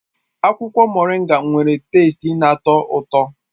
Akwụkwọ Moringa nwere teste na-atọ ụtọ